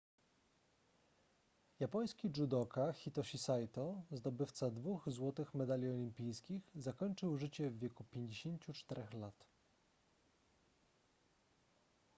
japoński judoka hitoshi saito zdobywca dwóch złotych medali olimpijskich zakończył życie w wieku 54 lat